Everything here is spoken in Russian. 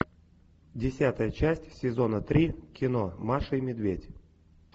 десятая часть сезона три кино маша и медведь